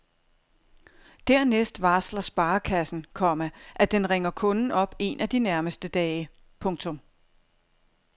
Dernæst varsler sparekassen, komma at den ringer kunden op en af de nærmeste dage. punktum